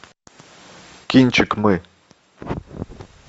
кинчик мы